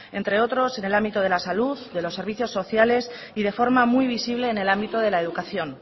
entre otros en el ámbito de la salud de los servicios sociales y de forma muy visible en el ámbito de la educación